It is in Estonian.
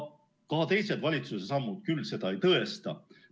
Ka teised valitsuse sammud küll seda ei tõesta.